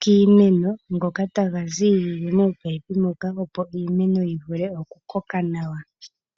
kiimeno ngoka taga ziilile moopaipi moka opo iimeno yi vule oku koka nawa.